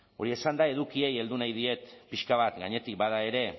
hori esanda edukiei heldu nahi diet pixka bat gainetik bada ere